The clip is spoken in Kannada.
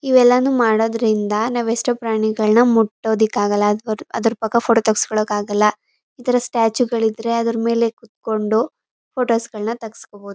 ಇವೆಲ್ಲಾನು ಮಾಡೋದ್ರಿಂದ ನಾವ್ ಎಷ್ಟೋ ಪ್ರಾಣಿಗಳನ್ನ ಮುಟ್ಟೋದಿಕಾಗಲ್ಲ ಅದ್ ಅದರ್ಪಕ್ಕ ಫೋಟೋ ತಗ್ಸ್ಕೊಳಕ್ ಆಗಲ್ಲ ಇತರ ಸ್ಟ್ಯಾಚು ಗಳಿದ್ರೆ ಅದರಮೇಲೆ ಕುತ್ಕೊಂಡು ಫೋಟೋಸ್ ಗಳ್ನ ತಗ್ಸ್ಕೊಬೋದು.